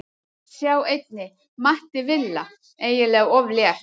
Sjá einnig: Matti Villa: Eiginlega of létt